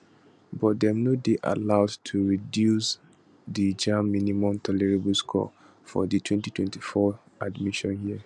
but dem no dey allowed to reduce di jamb minimum tolerable scores for di 2024 admission year